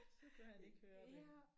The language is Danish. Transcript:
Så kunne han ikke høre det